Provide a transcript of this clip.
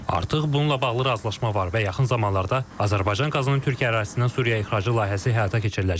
Artıq bununla bağlı razılaşma var və yaxın zamanlarda Azərbaycan qazının Türkiyə ərazisindən Suriyaya ixracı layihəsi həyata keçiriləcək.